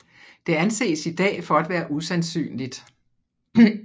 Det anses i dag for at være usandsynligt